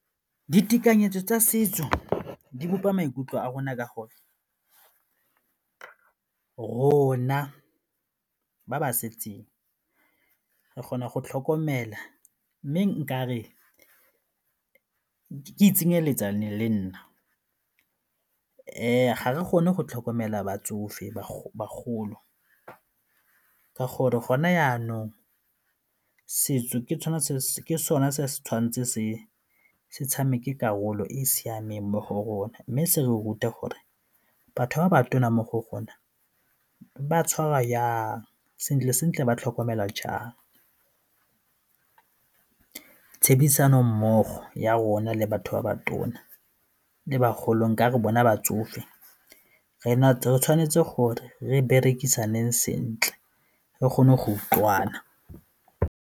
Ditekanyetso tsa setso di bopa maikutlo a rona ka gore rona ba ba setseng re kgona go tlhokomela mme nka re ke itsenyeletsa nne lenna ga re kgone go tlhokomela bagolo ka gore gone jaanong setso ke sone se se tshwanetse se tshameke karolo e e siameng mo go rona mme se re rute gore batho ba ba tona mo go rona ba tshwarwa jang sentle-sentle ba tlhokomela jang. Tshebedisano mmogo ya rona le batho ba ba tona le bagolo nka re bona batsofe, re tshwanetse gore re berekisane sentle re kgone go utlwana.